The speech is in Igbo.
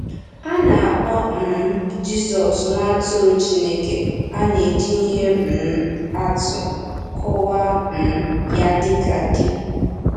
A na-akpọ um Jizọs “Nwa Atụrụ Chineke,” a na-eji ihe um atụ kọwaa um ya dịka di.